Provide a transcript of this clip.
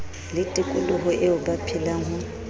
le tikoloho eo ba phelang